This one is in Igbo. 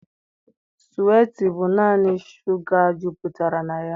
Suwiiti bụ naanị shuga jupụtara na ya.